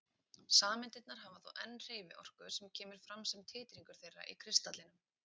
Sameindirnar hafa þó enn hreyfiorku sem kemur fram sem titringur þeirra í kristallinum.